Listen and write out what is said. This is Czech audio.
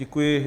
Děkuji.